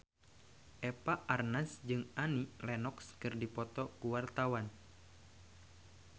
Eva Arnaz jeung Annie Lenox keur dipoto ku wartawan